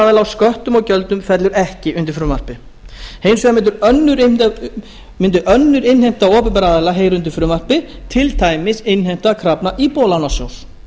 aðila á sköttum og gjöldum fellur ekki undir frumvarpið hins vegar mundi önnur innheimta opinberra aðila heyra undir frumvarpið til dæmis innheimta krafna íbúðalánasjóðs